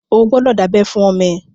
O gbọ́dọ̀ dábẹ́ fún ọmọ ẹ!